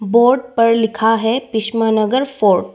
Board पर लिखा है भीष्मनगर फोर्ट ।